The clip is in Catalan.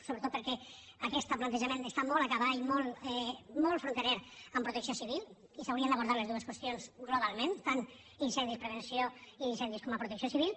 sobretot perquè aquest plantejament es·tà molt a cavall molt fronterer amb protecció civil i s’haurien d’abordar les dues qüestions globalment in·cendis·prevenció i incendis com a protecció civil